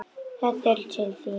Þetta er til þín